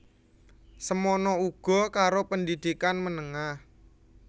Semana uga karo pendidikan menengah